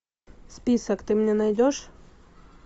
список ты мне найдешь